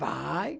Vai.